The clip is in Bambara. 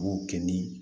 B'o kɛ ni